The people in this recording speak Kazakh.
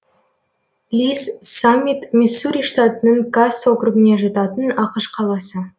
ли с саммит миссури штатының касс округіне жататын ақш қаласы